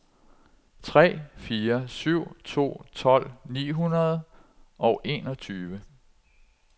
tre fire syv to tolv ni hundrede og enogtyve